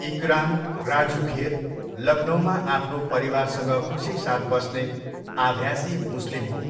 इकराम, राजु खेर, लखनऊमा आफ्नो परिवारसँग खुसीसाथ बस्ने आभ्यासी मुस्लिम हो।